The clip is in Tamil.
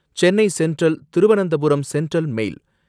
Chennai central Thiruvananthapuram central mail